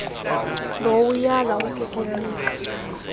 low uyala ukukunika